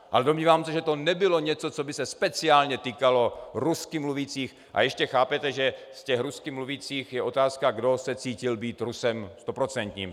Ale domnívám se, že to nebylo něco, co by se speciálně týkalo rusky mluvících, a ještě chápete, že z těch rusky mluvících je otázka, kdo se cítil být Rusem stoprocentním.